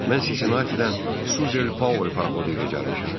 Mən Sisitidən Suzal Paraxodu ilə gəlmişəm.